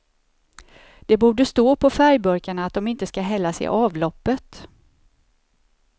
Det borde stå på färgburkarna att de inte ska hällas i avloppet.